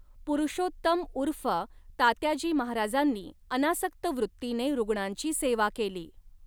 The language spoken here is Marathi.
पुरुषोत्तम ऊर्फ तात्याजी महाराजांनी अनासक्त वृत्तीने रुग्णांची सेवा केली.